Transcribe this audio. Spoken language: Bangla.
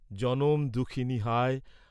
জনম দুঃখিনী, হায়!